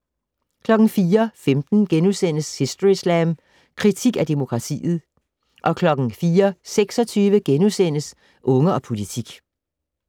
04:15: Historyslam: Kritik af demokratiet * 04:26: Unge og politik *